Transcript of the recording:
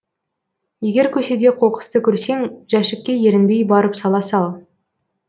егер көшеде қоқысты көрсең жәшікке ерінбей барып сала сал